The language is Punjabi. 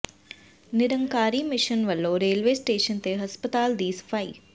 ਨਿਰੰਕਾਰੀ ਮਿਸ਼ਨ ਵੱਲੋਂ ਰੇਲਵੇ ਸਟੇਸ਼ਨ ਤੇ ਹਸਪਤਾਲ ਦੀ ਸਫਾਈ